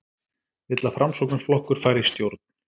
Vill að Framsóknarflokkur fari í stjórn